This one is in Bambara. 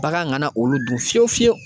Bagan ŋana olu dun fiyewu fiyewu